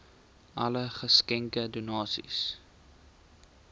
alle geskenke donasies